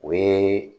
O ye